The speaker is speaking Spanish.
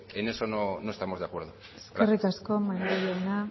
en eso no estamos de acuerdo gracias eskerrik asko maneiro jauna